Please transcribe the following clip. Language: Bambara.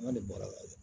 An de bɔra yen